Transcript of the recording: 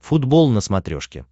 футбол на смотрешке